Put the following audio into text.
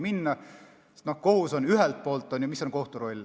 Mis on kohtu roll?